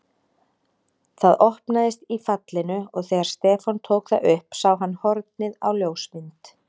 Það opnaðist í fallinu og þegar Stefán tók það upp sá hann hornið á ljósmynd.